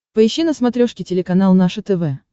поищи на смотрешке телеканал наше тв